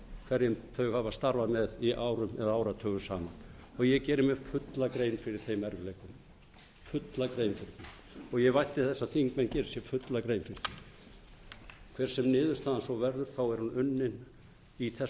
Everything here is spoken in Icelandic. hverjum þau hafa starfað með árum eða áratugum saman og ég geri mér fulla grein fyrir þeim erfiðleikum fulla grein fyrir því og ég vænti þess að þingmenn geri sér fulla grein fyrir því hver sem niðurstaðan svo verður er hún unnin í þessum sama anda